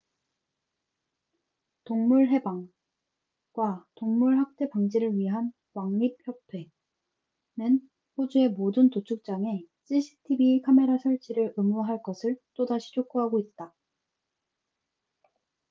동물 해방animal liberation과 동물 학대 방지를 위한 왕립협회rspca는 호주의 모든 도축장에 cctv 카메라 설치를 의무화할 것을 또다시 촉구하고 있다